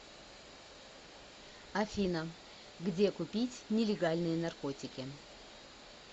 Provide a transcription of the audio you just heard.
афина где купить нелегальные наркотики